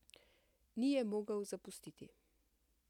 Ni je mogel zapustiti.